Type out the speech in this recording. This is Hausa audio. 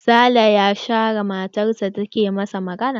Sale ya share matar sa da take ta masa magana.